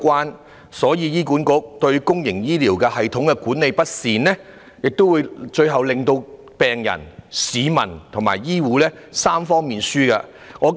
由此可見，倘若醫管局對公營醫療系統管理不善，最終只會令病人、市民及醫護界3方面均成為輸家。